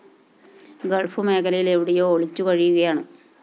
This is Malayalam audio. ഗൾഫ്‌ മേഖലയില്‍ എവിടെയോ ഒളിച്ചുകഴിയുകയാണ്‌